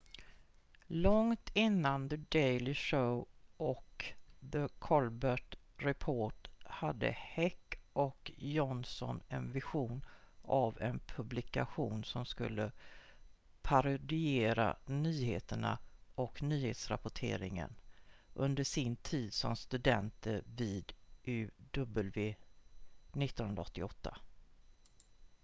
långt innan the daily show och the colbert report hade heck och johnson en vision av en publikation som skulle parodiera nyheterna och nyhetsrapporteringen under sin tid som studenter vid uw 1988